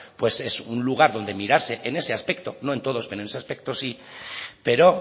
pues es un lugar donde mirarse en ese aspecto no en todos pero en ese aspecto sí pero